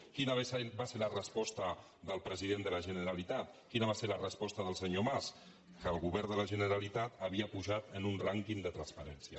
quina va ser la resposta del president de la generalitat quina va ser la resposta del senyor mas que el govern de la generalitat havia pujat en un rànquing de transparència